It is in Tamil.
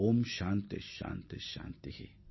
ஓம் சாந்தி சாந்தி சாந்தி